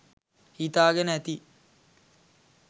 හිතාගෙන ඇති